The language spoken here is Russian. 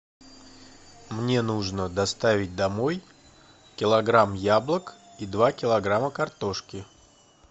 мне нужно доставить домой килограмм яблок и два килограмма картошки